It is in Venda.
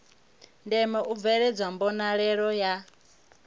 ndeme u bveledzwa mbonalelo ya